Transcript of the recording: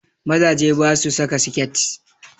Mazaje basu saka siket